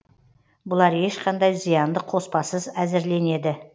бұлар ешқандай зиянды қоспасыз әзірленеді